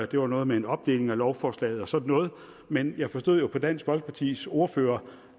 det var noget med en opdeling af lovforslaget og sådan noget men jeg forstod jo på dansk folkepartis ordfører